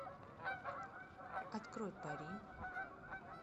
открой пари